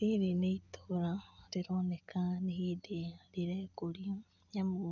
Rĩrĩ nĩ itũũra rĩroneka nĩ hĩndĩ rĩrekũria nĩ amu,